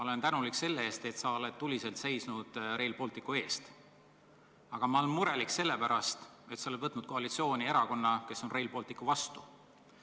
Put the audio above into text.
Olen tänulik selle eest, et sa oled tuliselt seisnud Rail Balticu eest, aga murelik sellepärast, et sa oled võtnud koalitsiooni erakonna, kes on Rail Balticu vastu.